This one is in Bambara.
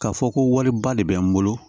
K'a fɔ ko wariba de bɛ n bolo